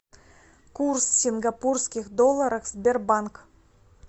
курс сингапурских долларов сбербанк